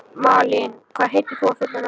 Malín, hvað heitir þú fullu nafni?